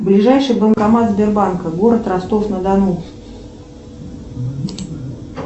ближайший банкомат сбербанка город ростов на дону